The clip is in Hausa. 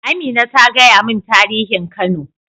Amina ta gaya min tarihin kano.